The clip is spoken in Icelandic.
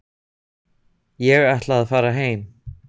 Ég ætla að fara heim.